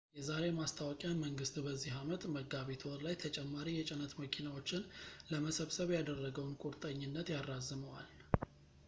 የዛሬ ማስታወቂያ መንግሥት በዚህ ዓመት መጋቢት ወር ላይ ተጨማሪ የጭነት መኪናዎችን ለመሰብሰብ ያደረገውን ቁርጠኝነት ያራዝመዋል